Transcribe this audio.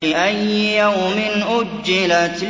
لِأَيِّ يَوْمٍ أُجِّلَتْ